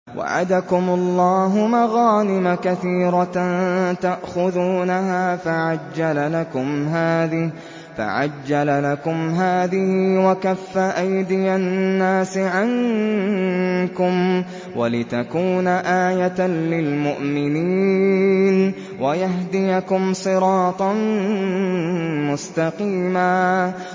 وَعَدَكُمُ اللَّهُ مَغَانِمَ كَثِيرَةً تَأْخُذُونَهَا فَعَجَّلَ لَكُمْ هَٰذِهِ وَكَفَّ أَيْدِيَ النَّاسِ عَنكُمْ وَلِتَكُونَ آيَةً لِّلْمُؤْمِنِينَ وَيَهْدِيَكُمْ صِرَاطًا مُّسْتَقِيمًا